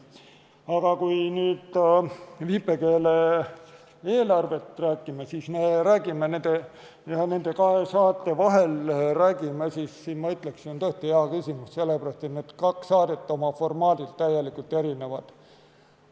Aga kui me nüüd räägime viipekeele eelarvest, nende kahe saate vahel valimisest, siis ma ütleksin, et see on tõesti hea küsimus, sest need kaks saadet on oma formaadilt täielikult erinevad.